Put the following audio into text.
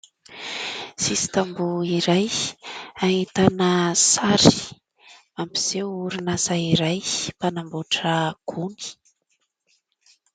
Sisin-tamboho iray ahitana sary, mampiseho orinasa iray mpanamboatra gony.